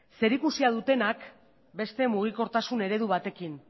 zerikusia dutenak beste mugikortasun eredu batekin